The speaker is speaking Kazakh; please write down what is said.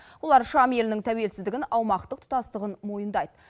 олар шам елінің тәуелсіздігін аумақтық тұтастығын мойындайды